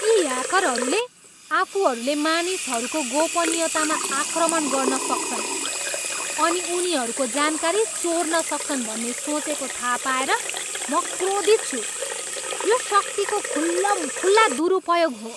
यी ह्याकरहरूले आफूहरूले मानिसहरूको गोपनीयतामा आक्रमण गर्न सक्छन् अनि उनीहरूको जानकारी चोर्न सक्छन् भन्ने सोचेको थाहा पाएर म क्रोधित छु। यो शक्तिको खुल्लमखुल्ला दुरुपयोग हो।